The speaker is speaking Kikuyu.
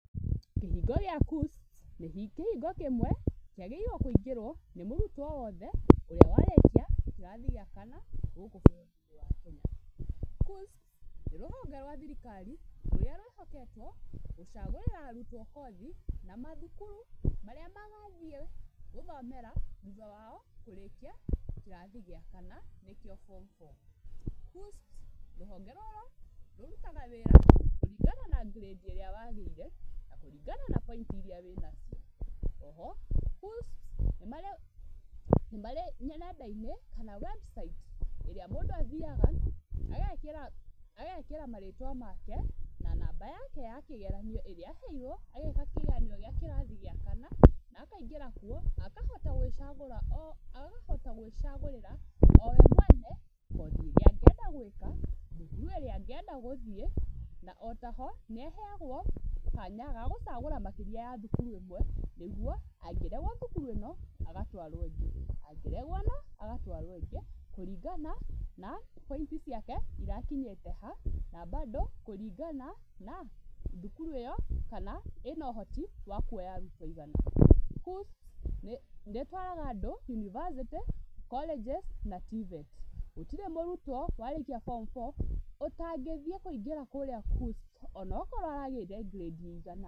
Kĩhingo gĩa KUCCPS nĩ kĩhingo kĩmwe kĩagĩrĩirwo kũingĩrwo nĩ mũrutwo wothe ũrĩa warĩkia kĩrathi gĩa kana gũkũ bũrũri-inĩ wa Kenya. KUCCPS nĩ rũhonge rwa thirikari rũrĩa rwĩhoketwo gũcagũrĩra arutwo kothi na mathukuru marĩa magathiĩ gũthomera thutha wao kũrĩkia kĩrathi gĩa kana, nĩkĩo form four. KUCCPS, rũhonge rũrũ rũrutaga wĩra kũringana na ngirĩndi ĩrĩa wagĩire na kũringana na point iria wĩnacio. Oho, KUCCPS nĩ marĩ nenda-inĩ, kana website ĩrĩa mũndũ athiaga, agekĩra marĩtwa make, na namba yake ya kĩgeranio ĩrĩa aheirwo agĩĩka kĩgeranio gĩa kĩrathi gĩa kana, na akaingĩra kuo na akahota gwĩcagũra, o akahota gwĩcagũrĩra o we mwene, kothi ĩrĩa angĩenda gwĩka, thukuru ĩrĩa angĩenda gũthiĩ, na o ta ho, nĩaheagwo kanya ga gũcagũra makĩria ya thukuru ĩmwe, nĩguo angĩregwo thukuru ĩno agatwarwo ĩngĩ. Angĩregwo ĩno, agatwarwo ĩngĩ kũringana na point ciake irakinyĩte ha, na mbandũ kũringana na thukuru ĩyo kana ĩna ũhoti wa kuoya arutwo aigana. KUCCPS nĩ ĩtwaraga andũ university, colleges, na TVET. Gũtirĩ mũrutwo warĩkia form four ũtangĩthiĩ kũingĩra kũrĩa KUCCPS ona okorwo aragĩire ngirĩndĩ ĩigana.